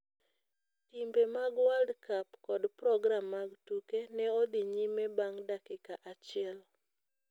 Timbe mag World Cup kod program mag tuke ne odhi nyime bang' dakika achiel.